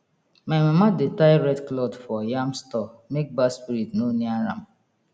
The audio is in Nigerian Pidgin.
my mama dey tie red cloth for yam store make bad spirit no near am